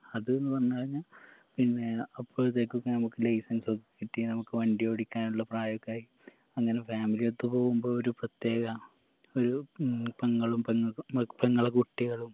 അത്ന്ന് പറഞ്ഞ് കയ്‌നാ പിന്നേ അപ്പഴത്തേക്കൊക്കെ നമുക്ക് license ഒക്കെ കിട്ടി നമുക്ക് വണ്ടി ഓടിക്കാനുള്ള പ്രായൊക്കെ ആയി അങ്ങനെ family ഒത്ത് പോകുമ്പോ ഒരു പ്രത്യേക ഒരു ഉം പെങ്ങളും പെങ്ങക്ക് പെങ്ങളെ കുട്ടികളും